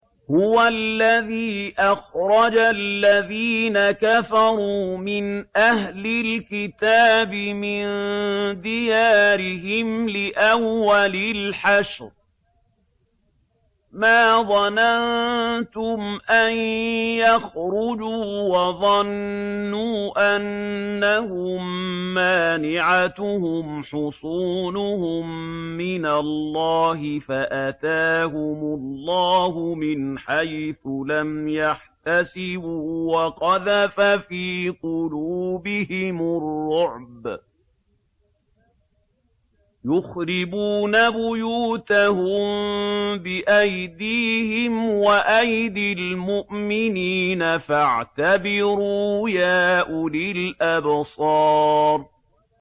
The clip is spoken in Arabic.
هُوَ الَّذِي أَخْرَجَ الَّذِينَ كَفَرُوا مِنْ أَهْلِ الْكِتَابِ مِن دِيَارِهِمْ لِأَوَّلِ الْحَشْرِ ۚ مَا ظَنَنتُمْ أَن يَخْرُجُوا ۖ وَظَنُّوا أَنَّهُم مَّانِعَتُهُمْ حُصُونُهُم مِّنَ اللَّهِ فَأَتَاهُمُ اللَّهُ مِنْ حَيْثُ لَمْ يَحْتَسِبُوا ۖ وَقَذَفَ فِي قُلُوبِهِمُ الرُّعْبَ ۚ يُخْرِبُونَ بُيُوتَهُم بِأَيْدِيهِمْ وَأَيْدِي الْمُؤْمِنِينَ فَاعْتَبِرُوا يَا أُولِي الْأَبْصَارِ